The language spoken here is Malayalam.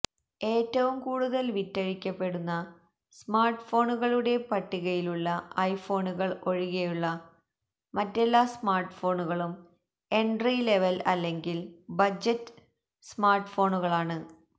ഏറ്റവും കൂടുതൽ വിറ്റഴിക്കപ്പെടുന്ന സ്മാർട്ട്ഫോണുകളുടെ പട്ടികയിലുള്ള ഐഫോണുകൾ ഒഴികെയുള്ള മറ്റെല്ലാ സ്മാർട്ട്ഫോണുകളും എൻട്രി ലെവൽ അല്ലെങ്കിൽ ബജറ്റ് സ്മാർട്ട്ഫോണുകളാണ്